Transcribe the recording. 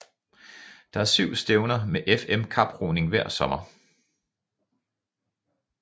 Der er syv stævner med FM kaproning hver sommer